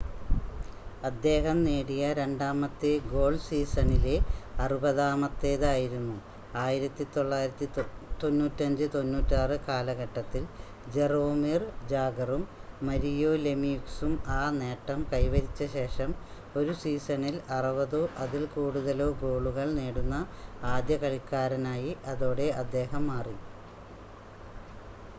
അദ്ദേഹം നേടിയ രണ്ടാമത്തെ ഗോൾ സീസണിലെ അറുപതാമത്തേത് ആയിരുന്നു 1995-96 കാലഘട്ടത്തിൽ ജറോമിർ ജാഗറും മരിയോ ലെമ്യൂക്സും ആ നേട്ടം കൈവരിച്ച ശേഷം ഒരു സീസണിൽ 60-ഓ അതിൽ കൂടുതലോ ഗോളുകൾ നേടുന്ന ആദ്യ കളിക്കാരനായി അതോടെ അദ്ദേഹം മാറി